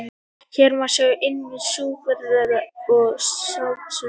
Hér má sjá innviði Júpíters og Satúrnusar.